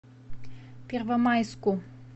первомайску